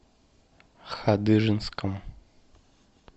хадыженском